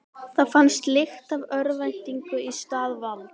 Það fannst lykt af örvæntingu í stað valds.